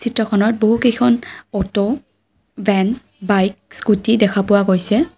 চিত্ৰখনত বহুকেইখন auto van bike scooty দেখা পোৱা গৈছে।